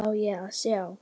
Hvað á ég að sjá?